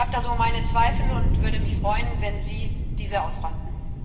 Ich habe da so meine Zweifel und würde mich freuen, wenn Sie diese ausräumten.